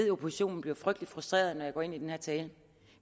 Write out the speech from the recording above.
at oppositionen bliver frygtelig frustreret når jeg går ind på den her tale